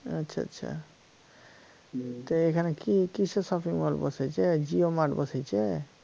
আচ্ছা আচ্ছা তো এখানে কিসের shopping mall বসেছে JioMart বসেছে